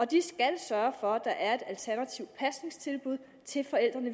de skal sørge for at der er et alternativt pasningstilbud til forældrene